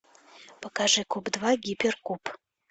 покажи куб два гиперкуб